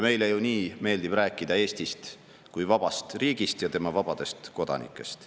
Meile ju nii meeldib rääkida Eestist kui vabast riigist ja tema vabadest kodanikest.